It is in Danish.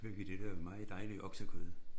Og så fik vi det der meget dejlige oksekød